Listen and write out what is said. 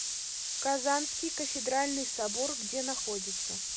казанский кафедральный собор где находится